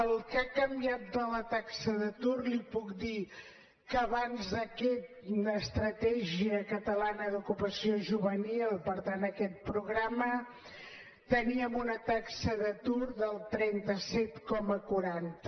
el que ha canviat de la taxa d’atur li puc dir que abans d’aquesta estratègia catalana d’ocupació juvenil per tant aquest programa teníem una taxa d’atur del trenta set coma quaranta